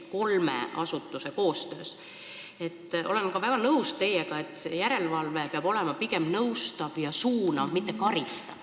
Olen teiega täiesti nõus, et järelevalve peab olema pigem nõustav ja suunav, mitte karistav.